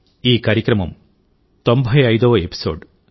ఈ కార్యక్రమం 95వ ఎపిసోడ్